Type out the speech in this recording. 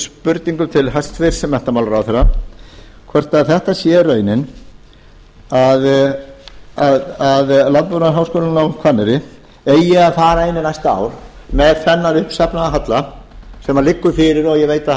spurningum til hæstvirts menntamálaráðherra hvort þetta sé raunin að landbúnaðarháskólinn á hvanneyri eigi að fara inn í næsta ár með þennan uppsafnaða halla sem liggur fyrir og ég veit að